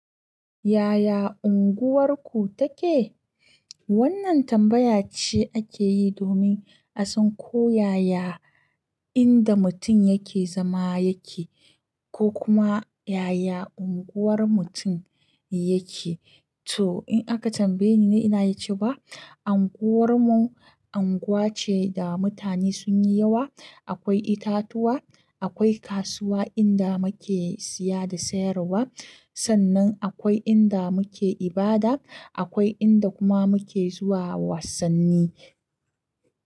Yaya unguwarku take? Wannan tambaya ce ake yi domin a san ko yaya inda mutum yake zama yake ko kuma yaya unguwar mutum yake. To in aka tambaye ni na yi ce wa, anguwarmu anguwa ce da mutane sun yi yawa. Akwai itatuwa, akwai kasuwa inda muke siya da sayarwa. Sannan akwai inda muke ibada. Akwai inda kuma muke zuwa wasanni.